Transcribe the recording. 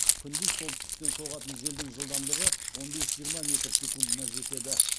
күндіз солтүстіктен соғатын желдің жылдамдығы он бес жиырма метр секундына жетеді